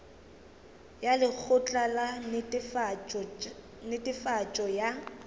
ya lekgotla la netefatšo ya